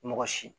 Mɔgɔ si